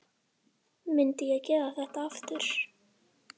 Myndi ég gera þetta?